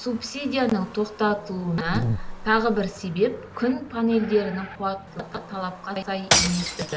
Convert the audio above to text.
субсидияның тоқтатылуына тағы бір себеп күн панельдерінің қуаттылығы талапқа сай еместігі